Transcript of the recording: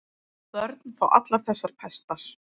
Börn fá allar þessar pestar.